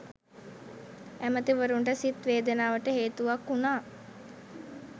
ඇමතිවරුන්ට සිත් වේදනාවට හේතුවක් වුණා.